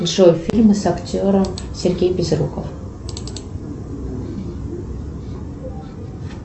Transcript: джой фильмы с актером сергей безруков